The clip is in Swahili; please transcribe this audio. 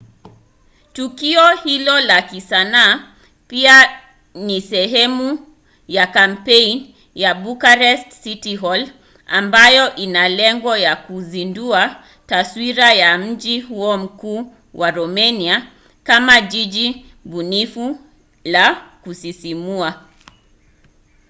tukio hilo la kisanaa pia ni sehemu ya kampeni ya bucharest city hall ambayo ina lengo la kuzindua taswira ya mji huo mkuu wa romania kama jiji bunifu la kusisimua